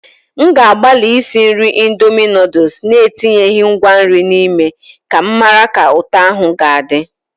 M ga-agbalị isi nri indomie noodles na-etinyeghị ngwa nri n'ime ka m mara ka ụtọ ahụ ga-adị.